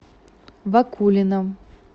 вакулина